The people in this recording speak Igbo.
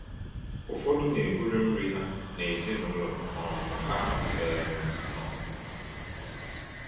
Ụfọdụ na-eburu nri ha na ezinụlọ um ha um nọ.